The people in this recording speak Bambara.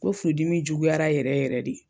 Ko furudimi juguyara yɛrɛ yɛrɛ ye de